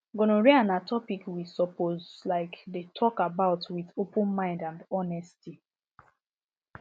gonorrhea na topic we suppose um dey talk about with open mind and honesty